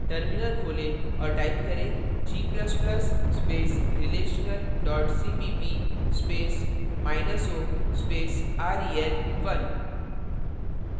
terminal खोलें और type करें g ++ relational cpp space minus o space rel1